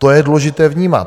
To je důležité vnímat.